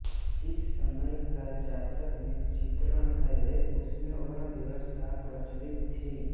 जिस समय का जातक में चित्रण है उसमें वर्ण व्यवस्था प्र्रचलित थी